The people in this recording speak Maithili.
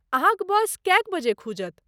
अहाँक बस कएक बजे खुजत?